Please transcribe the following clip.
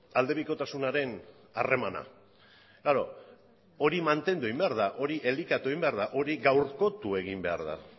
aldebikotasunaren harremana klaro hori mantendu egin behar da hori elikatu egin behar hori gaurkotu egin behar da